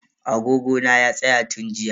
Agogo na ya tsaya tun jiya.